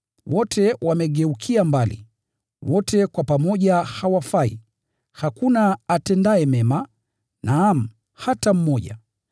Wote wamepotoka, wote wameoza pamoja; hakuna atendaye mema, naam, hakuna hata mmoja.”